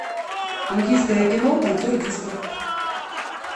индийское кино танцор диско